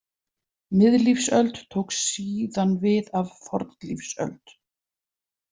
Miðlífsöld tók síðan við af fornlífsöld.